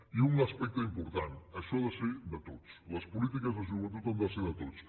i un aspecte important això ha de ser de tots les polítiques de joventut han de ser de tots